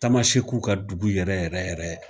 Tamasekuw ka dugu yɛrɛ yɛrɛ yɛrɛ